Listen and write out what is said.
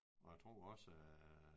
Og jeg tror også